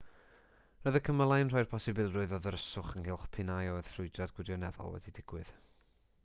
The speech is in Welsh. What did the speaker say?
roedd y cymylau'n rhoi'r posibilrwydd o ddryswch ynghylch p'un a oedd ffrwydrad gwirioneddol wedi digwydd